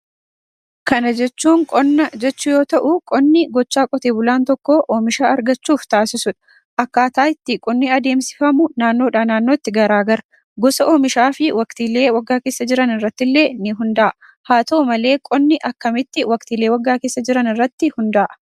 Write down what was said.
Kana jechuun qonna jechuu yoo ta'u qonni gochaa qote bulaan tokko oomisha argachuuf taasiisuudha. Akkaataa qonni itti adeemsifamu naannoodha naannootti garaagara. Gosa oomishaa fi waqtilee waggaa keessa jiran irrattille ni hunda'a. Haa ta'u malee qonni akkamitti waqtilee waggaa keessa jiran irratti hunda'a?